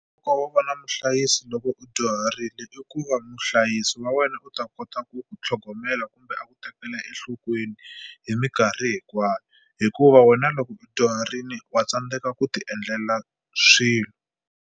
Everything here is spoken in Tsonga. wo va na muhlayisi loko u dyuharile i ku va muhlayisi wa wena u ta kota ku ku tlhogomela kumbe a ku tekela enhlokweni hi minkarhi hinkwayo hikuva wena loko u dyuharini wa tsandzeka ku ti endlela swilo.